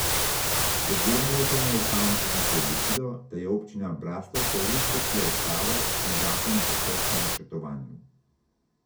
Pred dvema letoma je ustavno sodišče odločilo, da je občina Braslovče res kršila ustavo in zakon o prostorskem načrtovanju.